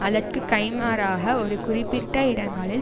அதற்கு கைமாறாக ஒரு குறிப்பிட்ட இடங்களில்